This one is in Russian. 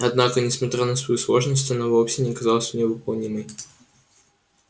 однако несмотря на свою сложность она вовсе не казалась невыполнимой